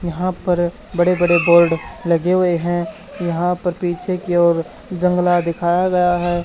यहां पर बड़े बड़े बोर्ड लगे हुए हैं यहां पर पीछे की ओर जंगला दिखाया गया है।